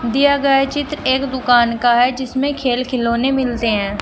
दिया गए चित्र एक दुकान का है जिसमें खेल खिलौने मिलते हैं।